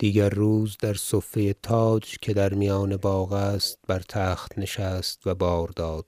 دیگر روز در صفه تاج که در میان باغ است بر تخت نشست و بار داد